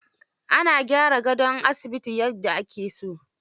Ana gyara gadon asibiti yaffa ake so.